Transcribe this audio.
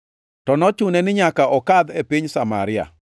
To nochune ni nyaka okadh e piny Samaria.